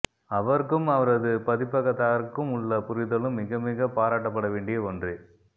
அவருக்கும் அவரது பதிப்பகத்தாருக்கும் உள்ள புரிதலும் மிக மிக பாராட்டப்படவேண்டிய ஒன்றே